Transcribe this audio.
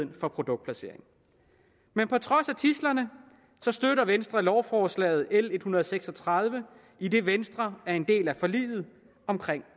for produktplacering men på trods af tidslerne støtter venstre lovforslaget l en hundrede og seks og tredive idet venstre er en del af forliget om